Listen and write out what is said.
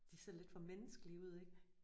De ser lidt for menneskelige ud ik?